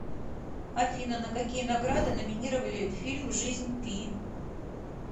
афина на какие награды номинировали фильм жизнь пи